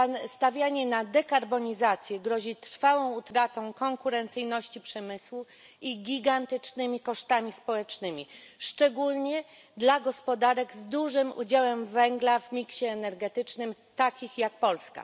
Stawianie na dekarbonizację grozi trwałą utratą konkurencyjności przemysłu i gigantycznymi kosztami społecznymi, szczególnie dla gospodarek z dużym udziałem węgla w miksie energetycznym, takich jak Polska.